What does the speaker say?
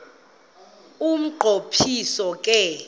umnqo phiso ke